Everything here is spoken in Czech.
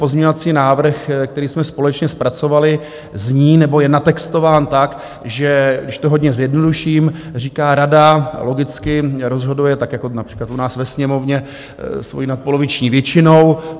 Pozměňovací návrh, který jsme společně zpracovali, zní nebo je natextován tak, že, když to hodně zjednoduším, říká: rada logicky rozhoduje, tak jako například u nás ve Sněmovně, svojí nadpoloviční většinou.